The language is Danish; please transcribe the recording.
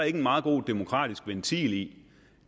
ikke en meget god demokratisk ventil